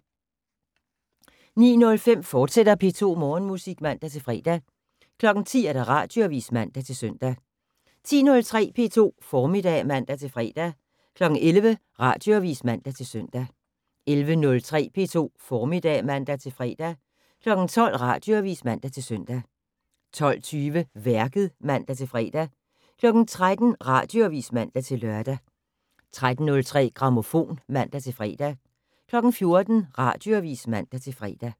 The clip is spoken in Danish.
09:05: P2 Morgenmusik, fortsat (man-fre) 10:00: Radioavis (man-søn) 10:03: P2 Formiddag (man-fre) 11:00: Radioavis (man-søn) 11:03: P2 Formiddag (man-fre) 12:00: Radioavis (man-søn) 12:20: Værket (man-fre) 13:00: Radioavis (man-lør) 13:03: Grammofon (man-fre) 14:00: Radioavis (man-fre)